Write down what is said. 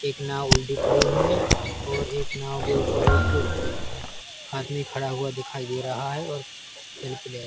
एक नाव उलटी पड़ी हुई है और एक नाव के ऊपर एक आदमी खड़ा हुआ दिखाई दे रहा है और मैन प्लेयर --